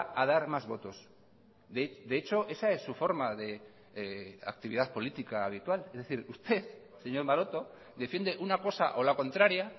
a dar más votos de hecho esa es su forma de actividad política habitual es decir usted señor maroto defiende una cosa o la contraria